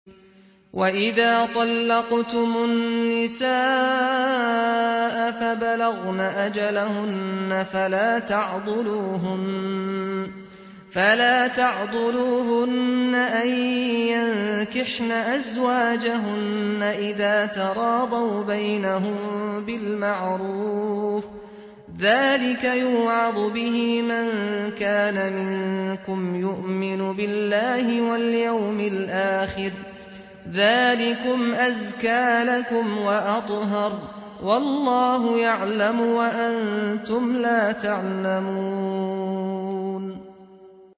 وَإِذَا طَلَّقْتُمُ النِّسَاءَ فَبَلَغْنَ أَجَلَهُنَّ فَلَا تَعْضُلُوهُنَّ أَن يَنكِحْنَ أَزْوَاجَهُنَّ إِذَا تَرَاضَوْا بَيْنَهُم بِالْمَعْرُوفِ ۗ ذَٰلِكَ يُوعَظُ بِهِ مَن كَانَ مِنكُمْ يُؤْمِنُ بِاللَّهِ وَالْيَوْمِ الْآخِرِ ۗ ذَٰلِكُمْ أَزْكَىٰ لَكُمْ وَأَطْهَرُ ۗ وَاللَّهُ يَعْلَمُ وَأَنتُمْ لَا تَعْلَمُونَ